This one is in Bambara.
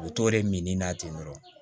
U bɛ t'o de mini na ten dɔrɔn